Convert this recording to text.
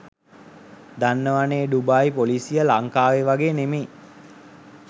දන්නවනේ ඩුබායි පොලිසිය ලංකාවේ වගේ නෙමෙයි.